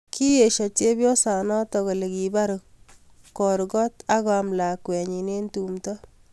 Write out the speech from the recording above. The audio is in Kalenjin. kiiyosho chepyosonatek kale kipar kokorgot ak koam lakwenyi eng tumto